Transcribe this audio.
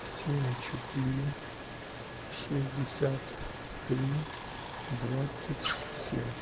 семь четыре шестьдесят три двадцать семь